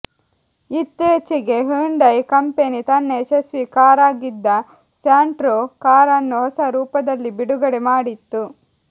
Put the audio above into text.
ಇತ್ತೀಚೆಗೆ Hyundai company ತನ್ನ ಯಶಸ್ವೀ ಕಾರಾಗಿದ್ದ ಸ್ಯಾಂಟ್ರೋ ಕಾರನ್ನು ಹೊಸ ರೂಪದಲ್ಲಿ ಬಿಡುಗಡೆ ಮಾಡಿತ್ತು